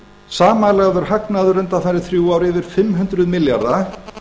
samanlagður hagnaður undanfarin þrjú ár yfir fimm hundruð milljarða